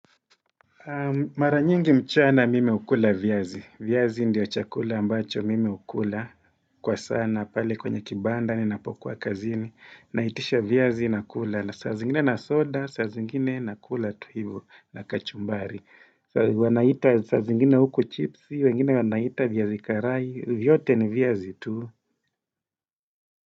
Mara nyingi mchana mimi hukula viazi. Viazi ndiyo chakula ambacho mimi hukula. Kwa sana. Pale kwenye kibanda ninapokuwa kazini. Naitisha viazi nakula. Saa zingine na soda. Saa zingine nakula tu hivu na kachumbari. Saa zingine huku chipsi. Wengine wanaita viazi karai. Vyote ni viazi tu.